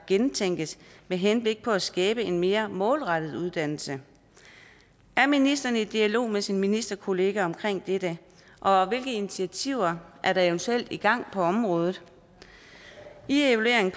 gennemtænkes med henblik på at skabe en mere målrettet uddannelse er ministeren i dialog med sin ministerkollega om dette og hvilke initiativer er der eventuelt i gang på området i evalueringen